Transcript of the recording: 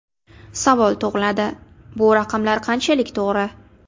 Savol tug‘iladi: bu raqamlar qanchalik to‘g‘ri?